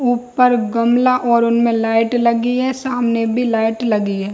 ऊपर गमला और उनमे लाइट लगी है सामने भी लाइट लगी है।